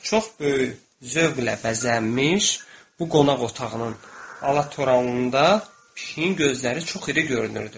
Çox böyük zövqlə bəzənmiş bu qonaq otağının alatoranlığında pişiyin gözləri çox iri görünürdü.